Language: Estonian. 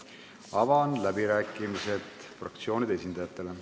Avan läbirääkimised fraktsioonide esindajatele.